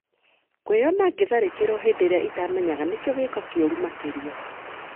Kũĩyona ngĩtharĩkĩrwo hĩndĩ ĩrĩa itamenyaga nĩkĩo gĩĩko kĩũru makĩria."